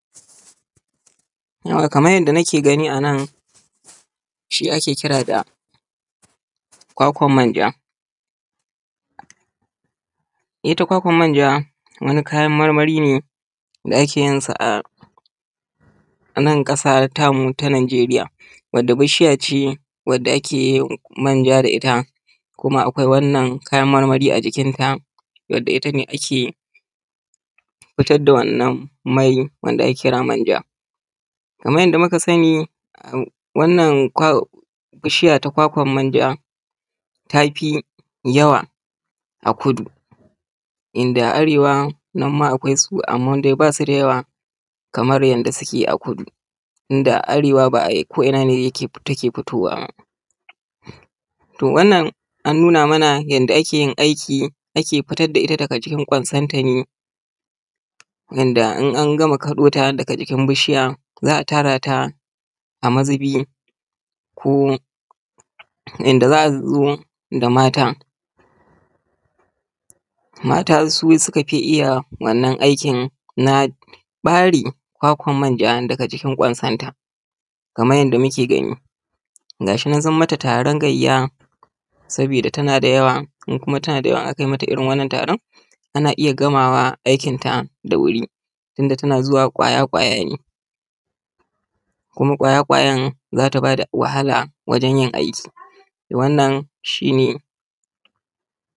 Kaman yadda nake gani a nan shi muke kira kwakwan manja. Ita kwakwan manja wani kayan marmari da ake yin sa a nan ƙasa tamu ta Najeriya wadda bishiya ce wanda ake yin manja da ita. Kuma akwai wannan kayan marmari a jikinta, wanda ita ne take fitar da wannan mai wanda ake kira manja. Kaman yadda muka sani wannan bishiya ta kwakwan manja tafi yawa a kudu, inda arewa nan ma akwai su amman dai ba su da yawa kaman yanda suke a kudu. inda arewa ba a ko’ina ne take fitowa. To wannan an nuna mana yanda ake yin aiki, ake fitar da ita daga cikin kwansanta ne yanda in an gama kaɗota daga jikin bishiya za a tara ta a mazubi ko yanda za a zo da mata, mata su suka fi iya wannan aikin na ɓari kwakwan manja daga jikin kwansanta kaman yanda muke gani, gashi nan sun mata taron gayya sabida tana da yawa, in kuma tana da yawa in akai mata irin wannan taron, ana iya gamawa aikin ta da wuri, tunda tana zuwa ƙwaya ƙwaya ne kuma ƙwayan ƙwayan za ta ba da wahala wajan yin aiki wannan shine.